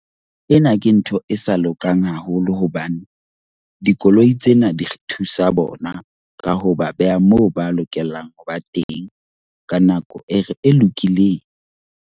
Ena ke ntho e sa lokang haholo hobane dikoloi tsena di re thusa bona. Ka ho ba beha moo ba lokelang ho ba teng, ka nako e re e lokileng.